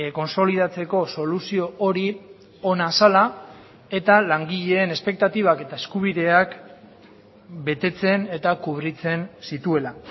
kontsolidatzeko soluzio hori ona zela eta langileen espektatibak eta eskubideak betetzen eta kubritzen zituela